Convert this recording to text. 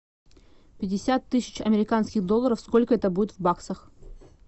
пятьдесят тысяч американских долларов сколько это будет в баксах